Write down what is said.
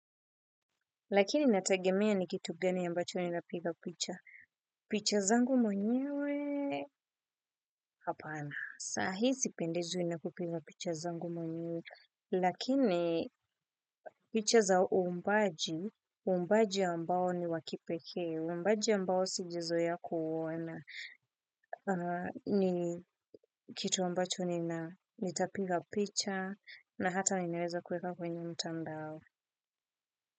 Lakini inatagemea ni kitu gani yambacho nina piga picha. Picha zangu mwenyewe, hapana. Sahizi sipendezwi na kupiga picha zangu mwanywe. Lakini, picha za uumbaji, uumbaji ambao ni wa kipekee. Uumbaji ambao sijazoea kuuona kitu ambacho nina, nitapiga picha. Na hata nimeweza kuweka kwenye mtandao.